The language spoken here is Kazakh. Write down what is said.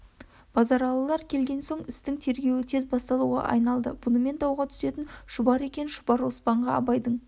базаралылар келген соң істің тергеуі тез басталуға айналды бұнымен дауға түсетін шұбар екен шұбар оспанға абайдың